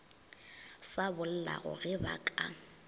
sa bollago ge ba ka